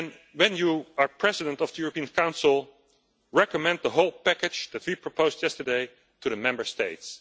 When you are President of the European Council, recommend the whole package that we proposed yesterday to the Member States.